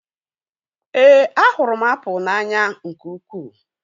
Éè, a hụrụ m apụl n'anya nke ukwuu